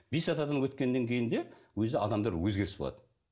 бес атадан өткеннен кейін де өзі адамда бір өзгеріс болады